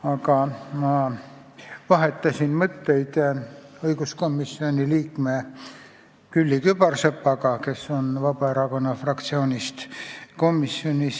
Aga ma vahetasin mõtteid õiguskomisjoni liikme Külliki Kübarsepaga, kes kuulub sinna Vabaerakonna fraktsiooni esindajana.